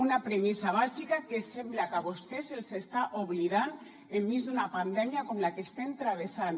una premissa bàsica que sembla que a vostès se’ls està oblidant enmig d’una pandèmia com la que estem travessant